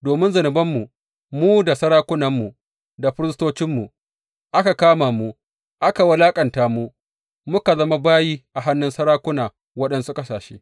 Domin zunubanmu, mu da sarakunanmu, da firistocinmu aka kama mu, aka wulaƙanta mu, muka zama bayi a hannun sarakuna waɗansu ƙasashe.